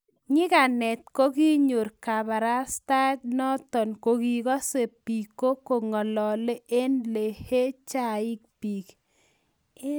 nyikanet kokinyor kabarastaet noto kokikase biko kongalale eng lehee chaik bik